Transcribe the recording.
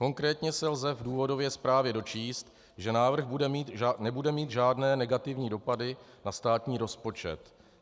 Konkrétně se lze v důvodové zprávě dočíst, že návrh nebude mít žádné negativní dopady na státní rozpočet.